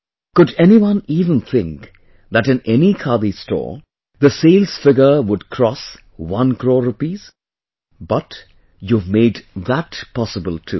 Could anyone even think that in any Khadi store, the sales figure would cross one crore rupees...But you have made that possible too